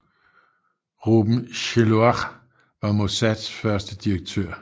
Reuben Shiloah var Mossads første direktør